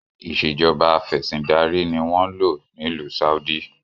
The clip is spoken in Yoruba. Ìsèjọba afẹ̀sindarí ni wọn ń lò n'ilu Saudi